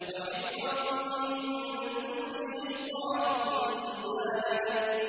وَحِفْظًا مِّن كُلِّ شَيْطَانٍ مَّارِدٍ